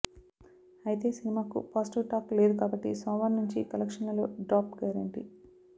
ఐతే సినిమాకు positive talk లేదు కాబట్టి సోమవారం నుంచి కలెక్షన్లలో డ్రాప్ గ్యారెంటీ